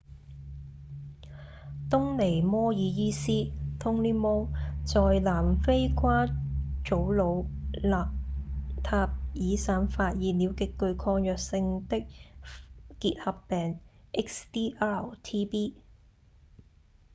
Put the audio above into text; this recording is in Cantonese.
東尼·摩爾醫師 tony moll 在南非誇祖魯-納塔爾省發現了極具抗藥性的結核病 xdr-tb